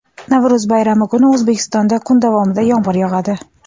Navro‘z bayrami kuni O‘zbekistonda kun davomida yomg‘ir yog‘adi.